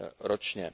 ročně.